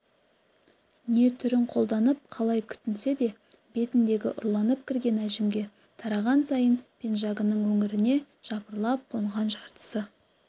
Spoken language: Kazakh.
не түрін қолданып қалай күтінсе де бетіндегі ұрланып кірген әжімге тараған сайын пенжагының өңіріне жыпырлап қонған жартысы